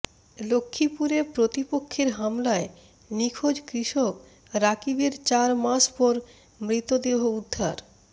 লক্ষ্মীপুরে প্রতিপক্ষের হামলায় নিখোঁজ কৃষক রাকিবের চার মাস পর মৃতদেহ উদ্ধার